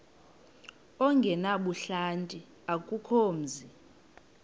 ongenabuhlanti akukho mzi